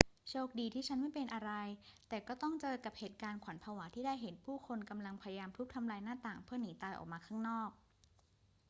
โชคดีที่ฉันไม่เป็นอะไร แต่ก็ต้องเจอกับเหตุการณ์ขวัญผวาที่ได้เห็นผู้คนกำลังพยายามทุบทำลายหน้าต่างเพื่อหนีตายออกมาข้างนอก